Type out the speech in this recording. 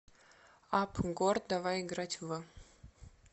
апп гор давай играть в